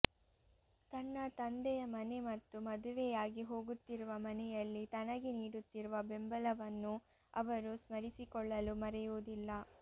ತನ್ನ ತಂದೆಯ ಮನೆ ಮತ್ತು ಮದುವೆಯಾಗಿ ಹೋಗುತ್ತಿರುವ ಮನೆಯಲ್ಲಿ ತನಗೆ ನೀಡುತ್ತಿರುವ ಬೆಂಬಲವನ್ನೂ ಅವರು ಸ್ಮರಿಸಿಕೊಳ್ಳಲು ಮರೆಯುವುದಿಲ್ಲ